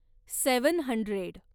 seven hundred